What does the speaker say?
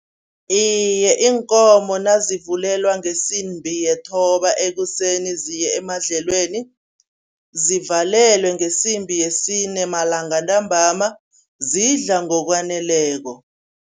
Iye, iinkomo nazivulelwa ngesimbi yethoba ekuseni ziye emadlelweni, zivalelwa ngesimbi yesine malanga ntambama, zidla ngokwaneleko.